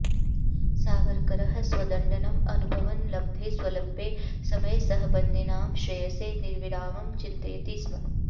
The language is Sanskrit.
सावरकरः स्वदण्डनम् अनुभवन् लब्धे स्वल्पे समये सहबन्दिनां श्रेयसे निर्विरामं चिन्तयति स्म